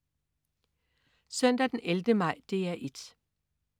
Søndag den 11. maj - DR 1: